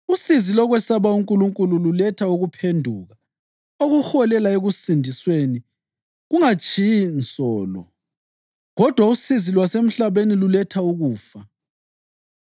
Usizi lokwesaba uNkulunkulu luletha ukuphenduka okuholela ekusindisweni kungatshiyi nsolo, kodwa usizi lwasemhlabeni luletha ukufa.